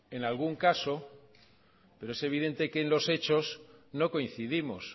en algún caso pero es evidente que en los hechos no coincidimos